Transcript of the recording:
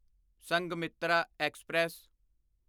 Sanghamitra express